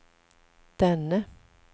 denne